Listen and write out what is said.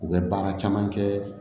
U bɛ baara caman kɛ